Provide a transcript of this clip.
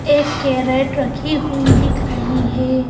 एक कैरट रखी हुई दिख रही हे ।